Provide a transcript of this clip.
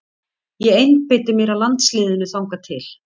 Ég einbeiti mér að landsliðinu þangað til.